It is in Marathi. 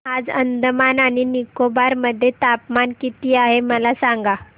आज अंदमान आणि निकोबार मध्ये तापमान किती आहे मला सांगा